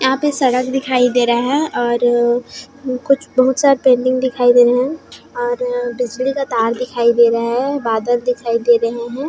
यहाँ पे सड़क दिखाई दे रहा हे और कुछ बहुत सारा पंडाल दिखाई दे रहा हे और डिश टी_वी का तार दिखाई दे रहा हे बादल दिखाई दे रहे हे।